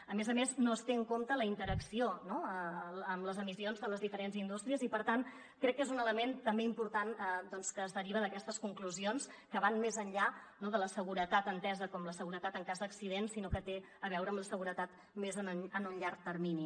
a més a més no es té en compte la interacció en les emissions de les diferents indústries i per tant crec que és un element també important que es deriva d’aquestes conclusions que van més enllà de la seguretat entesa com la seguretat en cas d’accident sinó que té a veure amb la seguretat més en un llarg termini